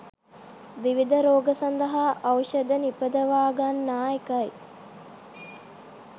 විවිධ රෝග සඳහා ඖෂධ නිපදවාගන්නා එකයි